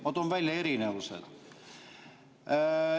Ma toon välja erinevused.